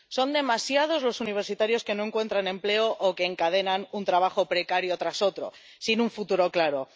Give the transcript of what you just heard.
Son demasiados los universitarios que no encuentran empleo o que encadenan un trabajo precario tras otro, sin un futuro claro.